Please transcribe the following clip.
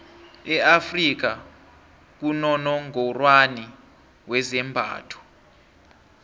e afrika kunonongorwani wezembatho